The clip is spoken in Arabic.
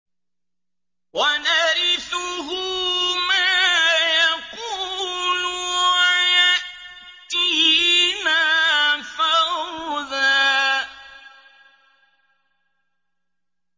وَنَرِثُهُ مَا يَقُولُ وَيَأْتِينَا فَرْدًا